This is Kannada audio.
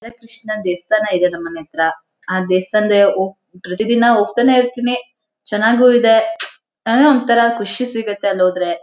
ಕೃಷ್ಣ ದೇಸ್ಥಾನ ಇದೆ ನಮ್ ಮನೆ ಹತ್ರಆ ದೇಸ್ಥಾನ್ದೆ ಹೊ-- ಪ್ರತಿ ದಿನ ಹೋಗ್ತಾನೆ ಇರ್ತೀನಿ ಚೆನ್ನಾಗೂ ಇದೆ ಅಏನೋ ಒಂತರ ಖುಷಿ ಸಿಗತ್ತೆ ಅಲ್ಲೋದ್ರೆ.